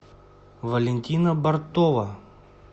валентина бортова